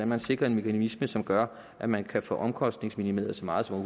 man sikrer en mekanisme som gør at man kan få omkostningsminimeret så meget som